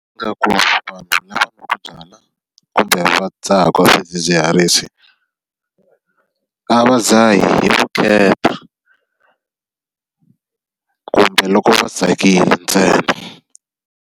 Ndzi nga ku vanhu lava nwaka byala kumbe va dzahaka swidzidziharisi, a va dzhahi vukheta kumbe loko va tsakile ntsena.